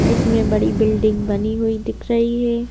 इसमें बड़ी बिल्डिंग बनी हुई दिख रही है।